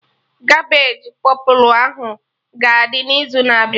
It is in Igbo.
Cabbage pọpụlụ ahụ ga-adị n'izu na-abịa